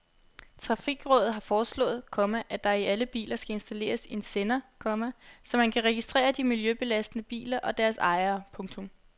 Trafikrådet har foreslået, komma at der i alle biler skal installeres en sender, komma så man kan registrere de miljøbelastende biler og deres ejere. punktum